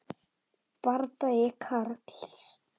Bardagi Karls